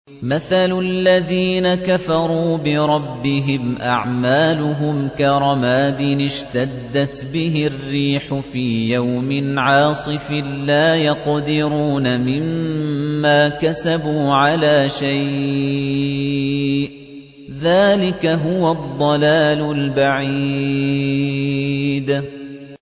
مَّثَلُ الَّذِينَ كَفَرُوا بِرَبِّهِمْ ۖ أَعْمَالُهُمْ كَرَمَادٍ اشْتَدَّتْ بِهِ الرِّيحُ فِي يَوْمٍ عَاصِفٍ ۖ لَّا يَقْدِرُونَ مِمَّا كَسَبُوا عَلَىٰ شَيْءٍ ۚ ذَٰلِكَ هُوَ الضَّلَالُ الْبَعِيدُ